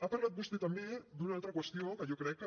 ha parlat vostè també d’una altra qüestió que jo crec que